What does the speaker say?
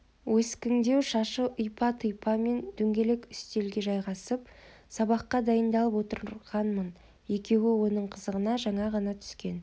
өскіңдеу шашы ұйпа-тұйпа мен дөңгелек үстелге жайғасып сабаққа дайыңдалып отырғанмын екеуі оның қызығына жаңа ғана түскен